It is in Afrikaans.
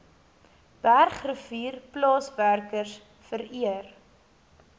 bergrivier plaaswerkers vereer